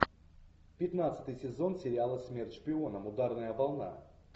пятнадцатый сезон сериала смерть шпионам ударная волна